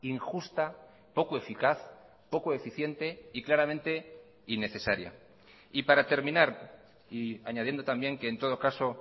injusta poco eficaz poco eficiente y claramente innecesaria y para terminar y añadiendo también que en todo caso